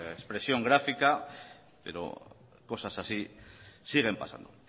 expresión gráfica pero cosas así siguen pasando